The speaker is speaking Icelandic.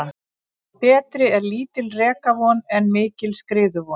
Betri er lítil rekavon en mikil skriðuvon.